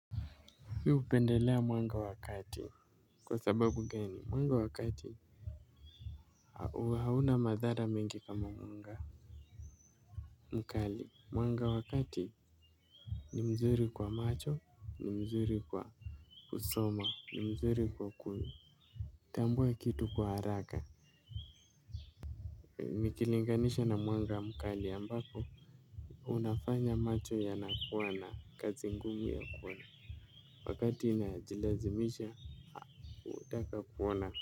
Mimi hupendelea mwanga wa kati. Kwa sababu gani mwanga wa kati hauna madhara mingi kama mwanga mkali. Mwanga wa kati ni mzuri kwa macho ni mzuri kwa kusoma ni mzuri kwa kuitambua kitu kwa haraka nikilinganisha na mwanga mkali ambapo unafanya macho yanakuwa na kazi ngumu ya ku wakati inajilazimisha hutaka kuona. Kwa hivyo.